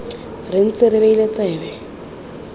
re ntse re beile tsebe